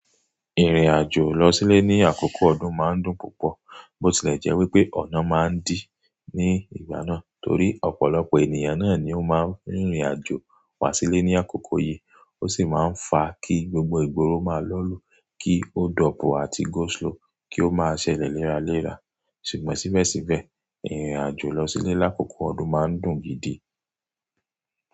Ìrìnàjò lọ sílé ní àkókò ọdún máa ń dùn púpọ̀, bó tilẹ̀ jẹ́ wípé ọ̀nà máa ń dì ní ìgbà náà torí ọ̀pọ̀lọpọ̀ ènìyàn náà ni ó máa ń rìnrìnàjò wá sílé ní àkókò yìí. Ó sì máa ń fa kí gbogbo ìgboro máa lọ́lù, kí ó dọ pu àti go slow kí ó máa ṣẹlẹ̀ léra léra. Ṣùgbọ́n síbẹ̀síbẹ̀, ìrìnàjò lọ sílé lákòókò ọdún má ń dùn gidi.